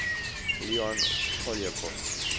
leon poliakov